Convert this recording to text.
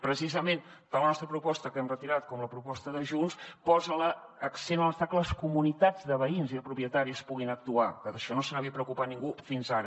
precisament tant la nostra proposta que hem retirat com la proposta de junts posen l’accent a la necessitat que les comunitats de veïns i de propietaris puguin actuar que d’això no se n’havia preocupat ningú fins ara